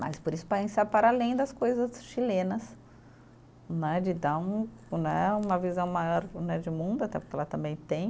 Mas por isso, para ensaiar para além das coisas chilenas né, de dar um né, uma visão maior né de mundo, até porque lá também tem.